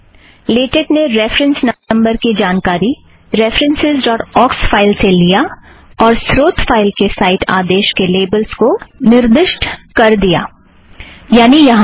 LaTeX ने reference number की जानकारी रेफ़रन्सस् ड़ॉट ऑक्स फ़ाइल से लिया और स्रोत फ़ाइल के साइट आदेश के लेबल्स को निर्दिष्ट कर दिया - यानि यहाँ से